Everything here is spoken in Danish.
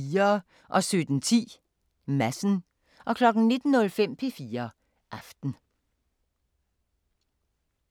17:10: Madsen 19:05: P4 Aften